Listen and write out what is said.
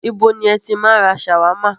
Ibo ni ẹ ti máa ń ra ṣàwámà?